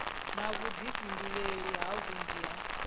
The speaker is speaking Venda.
na vhuḓifhinduleli ha vhunzhi ha